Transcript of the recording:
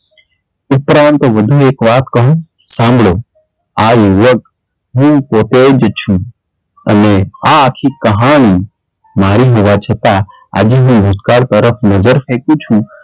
ઉપરાંત વધુ એક વાત કહું? સાંભળો, આ યુવક હું પોતે જ છું અને આ આખી કહાની મારી હોવા છતાં આજે હું ભૂતકાળ તરફ નજર ફેકું છું.